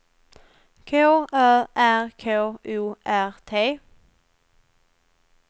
K Ö R K O R T